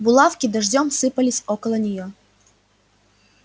булавки дождём сыпались около неё